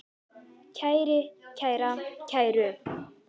kæri, kæra, kæru